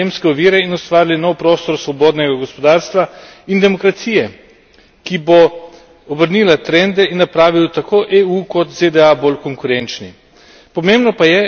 Odpravili bomo sistemske ovire in ustvarili nov prostor svobodnega gospodarstva in demokracije, ki bo obrnil trende in napravil tako EU kot ZDA bolj konkurenčni.